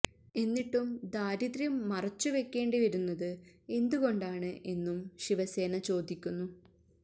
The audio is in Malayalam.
എന്നിട്ടും ദാരിദ്ര്യം മറച്ച് വെക്കേണ്ടി വരുന്നത് എന്തുകൊണ്ടാണ് എന്നും ശിവസേന ചോദിക്കുന്നു